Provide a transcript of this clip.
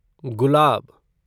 गुलाब